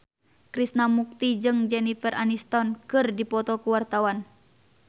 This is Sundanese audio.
Krishna Mukti jeung Jennifer Aniston keur dipoto ku wartawan